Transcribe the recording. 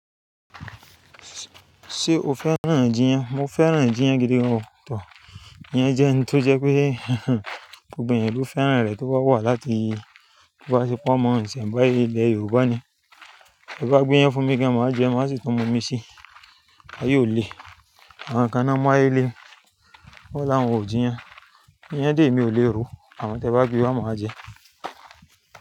Ṣé o féràn Jiyàn? Mo féràn Jiyàn gidi gan-an tọ. Iyẹn jẹ́ ohun tó jẹ́ pé gbogbo ènìyàn ló féràn rẹ̀ tó bá wà láti gbogbo àsopọ̀ mọ isènbáyé ìlẹ̀ Yorùbá ni. Ẹ bá gbéyán fún mi kí a máa jẹ ẹ, má sì tún mu mi sí, à yóò lé. Àwọn kan á máa lé e, wọ́n la wòn o Jiyàn. Iyẹn dè é mi ò lè ro. Àwọn tí ẹ bá gbé wá máa jẹ ẹ́